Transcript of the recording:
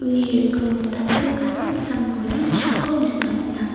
rikingo tangsekgilgil sam-bolrang chaako nikna man·a.